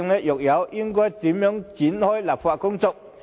若有，又該如何開展立法工作？